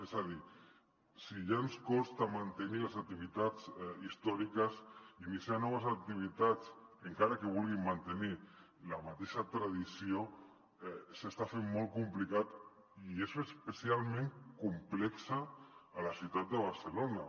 és a dir si ja ens costa mantenir les activitats històriques iniciar noves activitats encara que vulguin mantenir la mateixa tradició s’està fent molt complicat i és especialment complex a la ciutat de barcelona